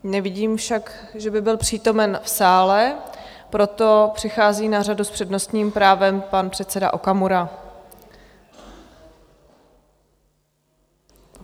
Nevidím však, že by byl přítomen v sále, proto přichází na řadu s přednostním právem pan předseda Okamura.